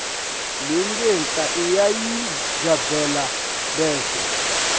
lengenhla uyayigabela bese